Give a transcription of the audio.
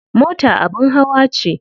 Mota abin hawa ce.